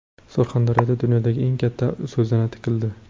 Surxondaryoda dunyodagi eng katta so‘zana tikildi.